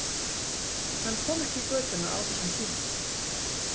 Hann kom ekki í götuna á þessum tíma.